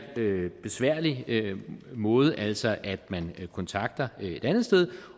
besværlige måde altså at man kontakter et andet sted